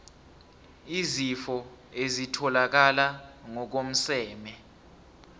izifo ezitholakala ngokomseme